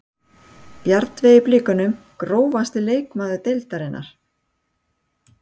Bjarnveig í blikunum Grófasti leikmaður deildarinnar?